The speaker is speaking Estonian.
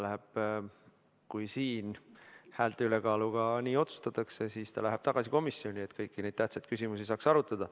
Kui siin häälte ülekaaluga nii otsustatakse, siis ta läheb tagasi komisjoni, et kõiki neid tähtsaid küsimusi saaks arutada.